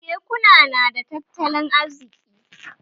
Kekuna nada tattalin arziki?